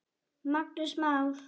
Magnús Már.